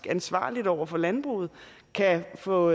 ansvarligt over for landbruget kan få